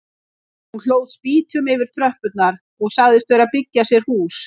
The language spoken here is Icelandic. Hún hlóð spýtum yfir tröppurnar og sagðist vera að byggja sér hús.